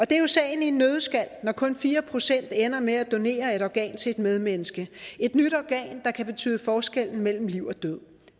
det er jo sagen i en nøddeskal når kun fire procent ender med at donere et organ til et medmenneske et nyt organ der kan betyde forskellen mellem liv og død